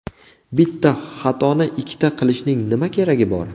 Bitta xatoni ikkita qilishning nima keragi bor?!